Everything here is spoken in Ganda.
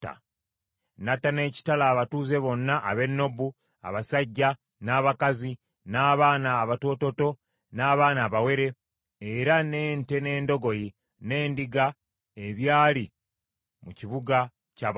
N’atta n’ekitala abatuuze bonna ab’e Nobu, abasajja, n’abakazi, n’abaana abatoototo, n’abaana abawere, era n’ente, n’endogoyi, n’endiga ebyali mu kibuga kya bakabona.